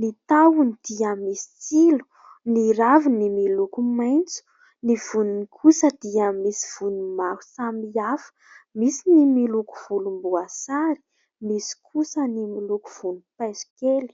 ny tahony dia misy tsilo, ny raviny miloko maitso, ny voniny kosa dia misy vony maro samihafa; misy ny miloko volom-boasary misy kosa ny miloko vonimpaiso kely.